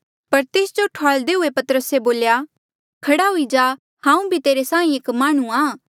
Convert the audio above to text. पर तेस जो ठुआल्दे हुए पतरसे बोल्या खड़ा हुई जा हांऊँ भी तेरे साहीं एक माह्णुंआं